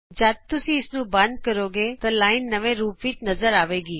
ਜਦ ਤੁਸੀਂ ਇਸਨੂੰ ਬੰਦ ਕਰੋਗੇ ਤਾਂ ਲਾਈਨ ਨੂੰ ਤੁਸੀਂ ਨਵੇਂ ਰੂਪ ਵਿਚ ਵੇਖੋਗੇ